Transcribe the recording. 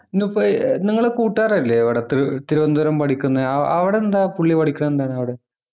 ന്നിപ്പൊ ഏർ നിങ്ങളെ കൂട്ടുകാരല്ലേ ഇവിടെ തി തിരുവനന്തപുരം പഠിക്കുന്നെ ആഹ് അവിടെ എന്താ പുള്ളി പഠിക്കുന്ന എന്താണവിടെ